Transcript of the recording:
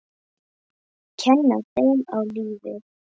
Kenna þeim á lífið.